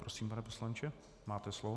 Prosím, pane poslanče, máte slovo.